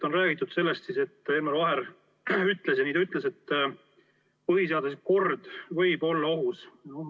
On räägitud sellest, et Elmar Vaher ütles – ja nii ta ütles –, et põhiseaduslik kord võib olla ohus.